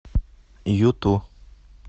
юту